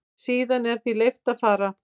Síðan er því leyft að fara.